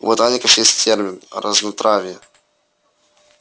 у ботаников есть термин разнотравье